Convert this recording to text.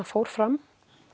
fór fram